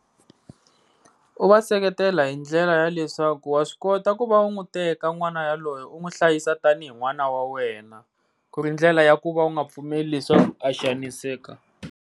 U va seketela hi ndlela ya leswaku wa swi kota ku va u n'wi teka n'wana wa lowo u n'wi hlayisa tanihi n'wana wa wena, ku ri ndlela ya ku va u nga pfumeli leswaku a xaniseka.